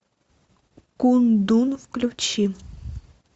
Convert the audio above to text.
кундун включи